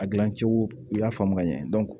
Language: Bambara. A gilan cogo i y'a faamu ka ɲɛ